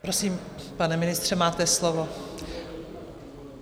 Prosím, pane ministře, máte slovo.